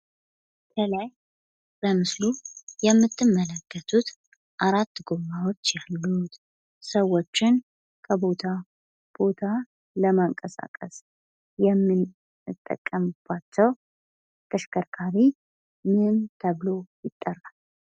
ከላይ በምስሉ የምትመለከቱት አራት ጎማዎች ያሉት፣ ሰዎችን ከቦታ ቦታ ለማንቀሳቀስ የምንጠቀምባቸው ተሽከርካሪ ምን ተብሎ ይጠራል?